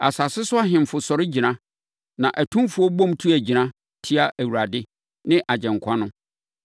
Asase so ahemfo sɔre gyina na atumfoɔ bom tu agyina tia Awurade ne Agyenkwa no.